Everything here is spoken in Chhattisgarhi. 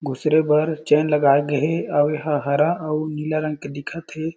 घुसरे बर चैन लगाये गए हें अउ एहा हरा अउ नीला रंग के दिखत हें।